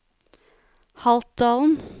Haltdalen